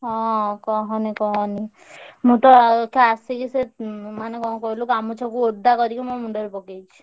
ହଁ କହନି କହନି ମୁଁ ତ ଅଇଖା ଆସିକି ସେ ଉଁ ମାନେ କଣ କହିଲୁ କାମ ଗାମୁଛାକୁ ଓଦା କରିକି ମୋ ମୁଣ୍ଡରେ ପକେଇଛି।